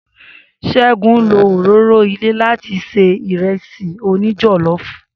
Segun lo òróró ilé láti ṣe Ìrẹ́sì òní jọ̀lọ́ọ̀fù